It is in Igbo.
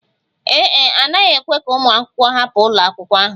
Ee e, a naghị ekwe ka ụmụ akwụkwọ hapụ ụlọ akwụkwọ ahụ